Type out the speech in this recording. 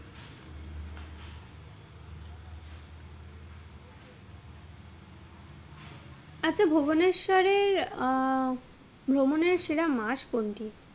আচ্ছা ভুবনেশ্বরে আহ ভ্রমণের সেরা মাস কোনটি?